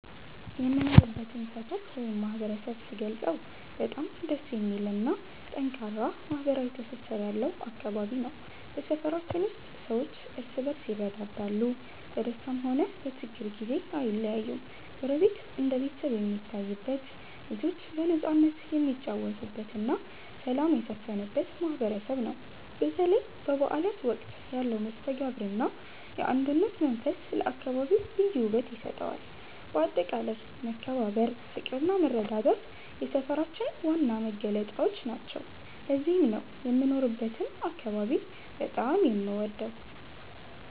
የምኖርበትን ሰፈር ወይም ማህበረሰብ ስገልጸው በጣም ደስ የሚልና ጠንካራ ማህበራዊ ትስስር ያለው አካባቢ ነው። በሰፈራችን ውስጥ ሰዎች እርስ በርስ ይረዳዳሉ፤ በደስታም ሆነ በችግር ጊዜ አይለያዩም። ጎረቤት እንደ ቤተሰብ የሚታይበት፣ ልጆች በነፃነት የሚጫወቱበትና ሰላም የሰፈነበት ማህበረሰብ ነው። በተለይ በበዓላት ወቅት ያለው መስተጋብርና የአንድነት መንፈስ ለአካባቢው ልዩ ውበት ይሰጠዋል። በአጠቃላይ መከባበር፣ ፍቅርና መረዳዳት የሰፈራችን ዋና መገለጫዎች ናቸው። ለዚህም ነው የምኖርበትን አካባቢ በጣም የምወደው።